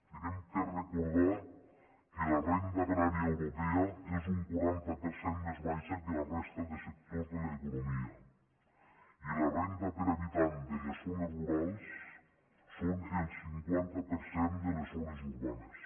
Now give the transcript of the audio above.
hem de recordar que la renda agrària europea és un quaranta per cent més baixa que la de la resta de sectors de l’economia i les rendes per habitant de les zones rurals són el cinquanta per cent de les zones urbanes